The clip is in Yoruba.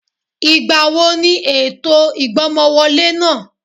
Ìgbà wo ni ètò ìgbọ́mọwọlé náà?